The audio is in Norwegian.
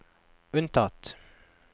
unntatt